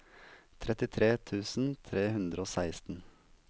trettitre tusen tre hundre og seksten